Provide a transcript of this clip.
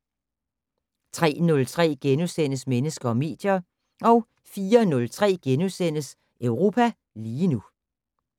03:03: Mennesker og medier * 04:03: Europa lige nu *